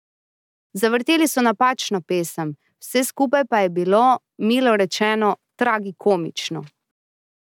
Zavrteli so napačno pesem, vse skupaj pa je bilo, milo rečeno, tragikomično.